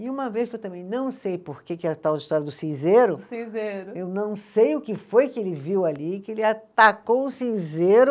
E uma vez que eu também não sei por que que a tal história do cinzeiro. Cinzeiro. Eu não sei o que foi que ele viu ali, que ele atacou o cinzeiro.